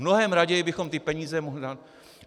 Mnohem raději bychom ty peníze mohli dát...